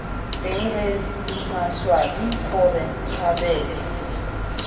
teng re maswabi gore kgabele